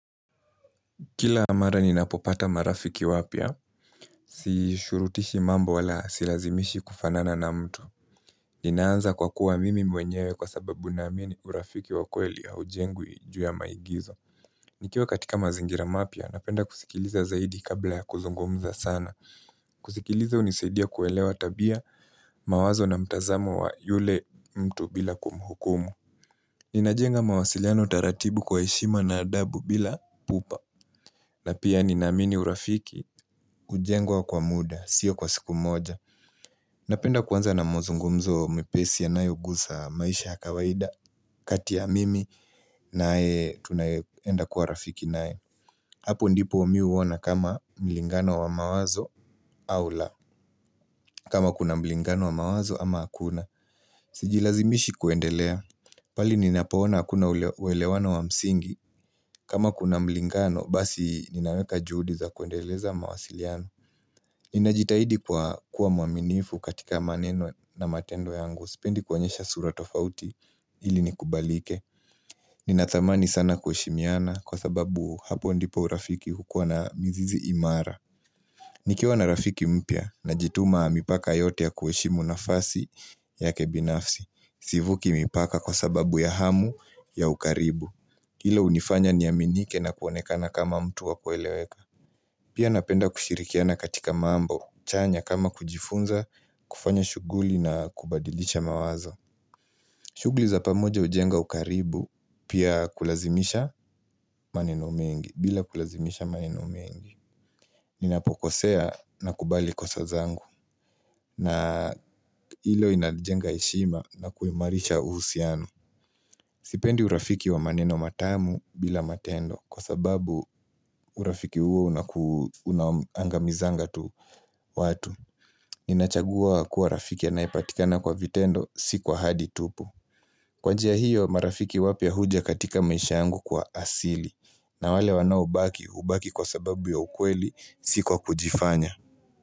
Kila mara ninapopata marafiki wapya, sishurutishi mambo wala silazimishi kufanana na mtu. Ninaanza kwa kuwa mimi mwenyewe kwa sababu ninamini urafiki wakweli hujengwi juu ya maigizo. Nikiwa katika mazingira mapya, napenda kusikiliza zaidi kabla ya kuzungumza sana. Kusikiliza hunisadia kuelewa tabia mawazo na mtazamo wa yule mtu bila kumhukumu. Ninajenga mawasiliano taratibu kwa heshima na adabu bila pupa. Na pia ninaamini urafiki, hujengwa kwa muda, sio kwa siku moja. Napenda kuanza na mazungumzo mepesi yanayoguza maisha kawaida, kati ya mimi, na tunayeenda kwa rafiki nae. Hapo ndipo mimi huona kama mlingano wa mawazo au la. Kama kuna mlingano wa mawazo ama akuna. Sijilazimishi kuendelea. Bali ninapoona hakuna uelewano wa msingi. Kama kuna mlingano, basi ninaweka juhudi za kuendeleza mawasiliano. Ninajitahidi kwa kuwa mwaminifu katika maneno na matendo yangu Sipendi kuonyesha sura tofauti ili ni kubalike Ninathamani sana kuheshimiana kwa sababu hapo ndipo urafiki hukua na mizizi imara nikiwa na rafiki mpya najituma mipaka yote ya kuheshimu nafasi yake binafsi Sivuki mpaka kwa sababu ya hamu ya ukaribu Hilo hunifanya niaminike na kuonekana kama mtu wa kueleweka Pia napenda kushirikiana katika mambo chanya kama kujifunza kufanya shughuli na kubadilisha mawazo shughuli za pamoja hujenga ukaribu pia kulazimisha maneno mengi bila kulazimisha maneno mengi Ninapokosea nakubali kosa zangu na hilo inajengea heshima na kuumarisha uhusiano Sipendi urafiki wa maneno matamu bila matendo Kwa sababu urafiki huo unaangamizanga tu watu Ninachagua kuwa rafiki anayepatikana kwa vitendo si kwa ahadi tu Kwa njia hiyo marafiki wapya huja katika maisha yangu kwa asili na wale wanaobaki hubaki kwa sababu ya ukweli si kwa kujifanya.